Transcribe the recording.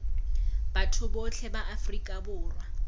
batho botlhe ba afrika borwa